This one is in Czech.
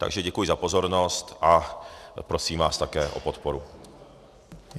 Takže děkuji za pozornost a prosím vás také o podporu.